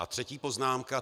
A třetí poznámka.